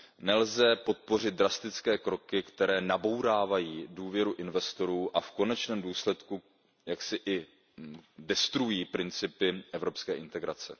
Nelze podpořit drastické kroky, které nabourávají důvěru investorů a v konečném důsledku i destruují principy evropské integrace.